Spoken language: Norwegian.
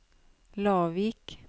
Lavik